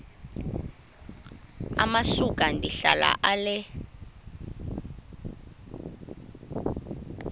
amasuka ndihlala ale